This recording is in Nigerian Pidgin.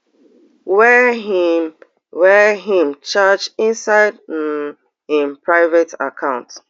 wey im wey im charge inside um im private account